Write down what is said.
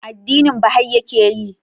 Addinin baha'i ya ke yi?